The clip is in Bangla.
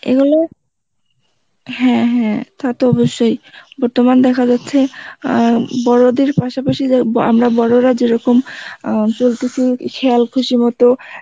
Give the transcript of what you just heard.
এগুলো, হ্যাঁ হ্যাঁ তা তো অবশ্যই বর্তমান দেখা যাচ্ছে অ্যাঁ বড়দের পাশাপাশি য~ আমরা বড় রা যেরকম অ্যাঁ চল্তেসী খেয়াল খুসি মত